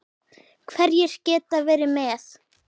Hverjir geta verið með?